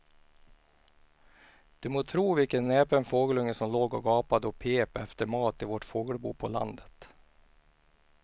Du må tro vilken näpen fågelunge som låg och gapade och pep efter mat i vårt fågelbo på landet.